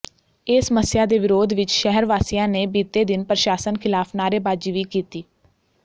ਇਸ ਸਮੱਸਿਆ ਦੇ ਵਿਰੋਧ ਵਿੱਚ ਸ਼ਹਿਰ ਵਾਸੀਆਂ ਨੇ ਬੀਤੇ ਦਿਨ ਪ੍ਰਸ਼ਾਸਨ ਖ਼ਿਲਾਫ਼ ਨਾਅਰੇਬਾਜ਼ੀ ਵੀ ਕੀਤੀ